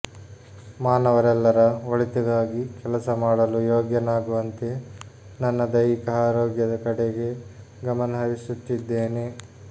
ಮಾನವರೆಲ್ಲರ ಒಳಿತಿಗಾಗಿ ಕೆಲಸ ಮಾಡಲು ಯೋಗ್ಯನಾಗುವಂತೆ ನನ್ನ ದೈಹಿಕ ಆರೋಗ್ಯದ ಕಡೆಗೆ ಗಮನ ಹರಿಸುತ್ತಿದ್ದೇನೆ